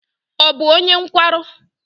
Ọ bụ onye nkwarụ?